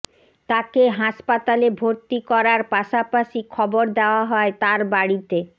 তাকে হাসপাতালে ভর্তি করার পাশাপাশি খবর দেওয়া হয় তার বাড়িতে